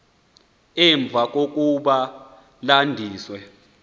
emva kokuba landisiwe